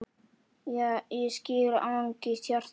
Ég skil angist hjarta þíns